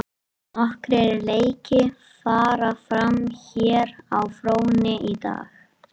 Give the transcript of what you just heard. Nokkrir leiki fara fram hér á fróni í dag.